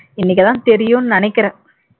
இன்னைக்குதான் தெரியும்னு நினைக்கிறேன்